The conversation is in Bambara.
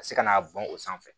Ka se ka na bɔn o sanfɛ